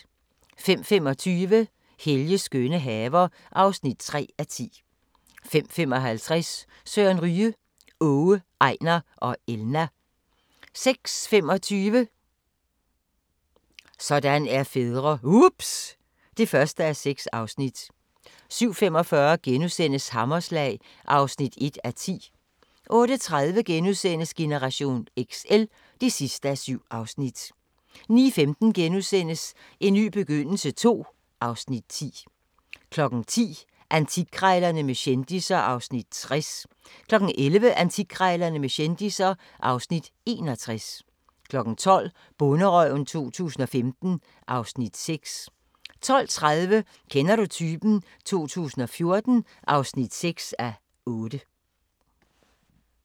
05:25: Helges skønne haver (3:10) 05:55: Søren Ryge: Åge, Ejnar og Elna 06:25: Sådan er fædre - ups ... (1:6) 07:45: Hammerslag (1:10)* 08:30: Generation XL (7:7)* 09:15: En ny begyndelse II (Afs. 10)* 10:00: Antikkrejlerne med kendisser (Afs. 60) 11:00: Antikkrejlerne med kendisser (Afs. 61) 12:00: Bonderøven 2015 (Afs. 6) 12:30: Kender du typen 2014 (6:8)